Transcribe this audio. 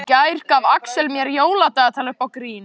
Í gær gaf Axel mér jóladagatal upp á grín.